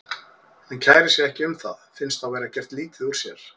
Hann kærir sig ekki um það, finnst þá vera gert lítið úr sér.